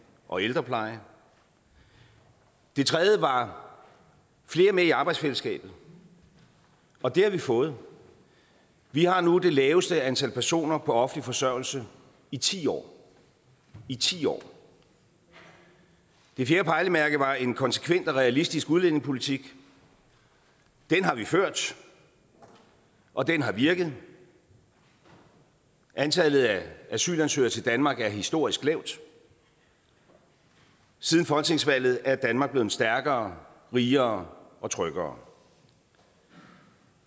og ældrepleje det tredje pejlemærke var flere med i arbejdsfællesskabet og det har vi fået vi har nu det laveste antal personer på offentlig forsørgelse i ti år i ti år det fjerde pejlemærke var en konsekvent og realistisk udlændingepolitik den har vi ført og den har virket antallet af asylansøgere til danmark er historisk lavt siden folketingsvalget er danmark blevet stærkere rigere og tryggere